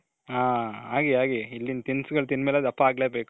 ಆಗಿ ಆಗಿ ಇಲ್ಲಿನ್ ತಿನಿಸುಗಳು ತಿಂದ ಮೇಲೆ ದಪ್ಪ ಆಗ್ಲೇ ಬೇಕು.